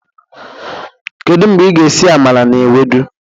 Kedu mgbe ị ga-esi amala na ewedu?